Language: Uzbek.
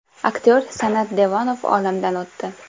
Aktyor San’at Devonov olamdan o‘tdi.